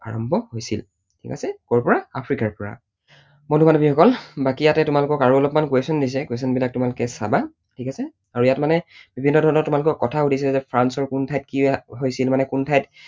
আৰম্ভ হৈছিল। ঠিক আছে? কৰ পৰা? আফ্ৰিকাৰ পৰা। বন্ধু বান্ধৱীসকল বাকী ইয়াতে তোমালোকক আৰু অলপমান question দিছে, question বিলাক তোমালোকে চাবা ঠিক আছে? আৰু ইয়াত মানে বিভিন্ন ধৰণৰ তোমালোকক কথা সুধিছে যে ফ্ৰান্সৰ কোন ঠাইত কি হৈছিল মানে, কোন ঠাইত